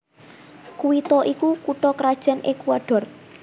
Quito iku kutha krajan Ekuador